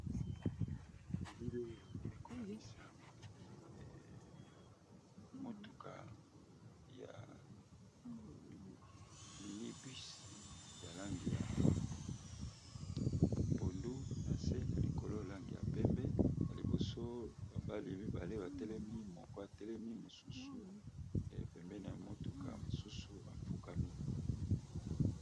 Elile oyo ekolakisape motuka ya mini bus ya langi ya pondu na se na likolo langi ya pembe na liboso ba mibali mibale batelemi moko atelemi mosusu pembeni na motuka mosusu afukami.